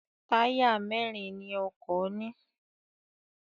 Táyà mẹ́rin ni ọkọ̀ ní.